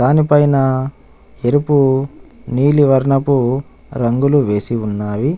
దానిపైన ఎరుపు నీలి వర్ణపు రంగులు వేసి ఉన్నవి.